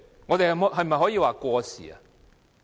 我們可否說過時？